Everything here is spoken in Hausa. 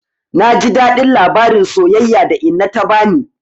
Na ji daɗin labarin soyayya da inna ta bani.